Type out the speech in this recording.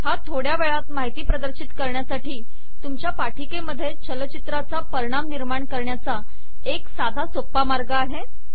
हा थोडक्या वेळात माहिती प्रदर्शित करण्यासाठी तुमच्या सादरीकरणामध्ये चलचित्राचा परिणाम निर्माण करण्याचा एक साधा सोपा मार्ग आहे